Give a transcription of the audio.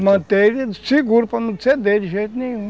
Para manter ele seguro, para não ceder de jeito nenhum.